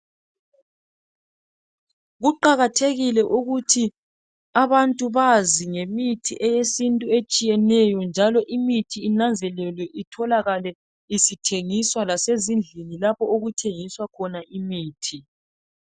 Kuqakathekike ukuthi abantu bazi ngemithi eyesintu etshiyeneyo njalo imithi inanzelelwe itholakale isithengiswa lasezindlini lapho okuthengiswa khona imithi.